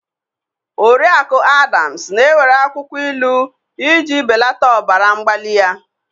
Oriakụ Adams na-ewere akwụkwọ ilu iji belata ọbara mgbali ya.